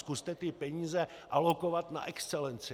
Zkuste ty peníze alokovat na excelenci.